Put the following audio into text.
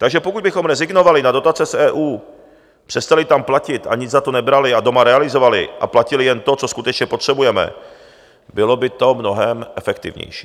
Takže pokud bychom rezignovali na dotace z EU, přestali tam platit a nic za to nebrali a doma realizovali a platili jen to, co skutečně potřebujeme, bylo by to mnohem efektivnější.